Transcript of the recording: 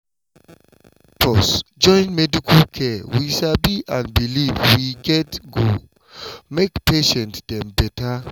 pause join medical care we sabi and belief we get go make patient dem better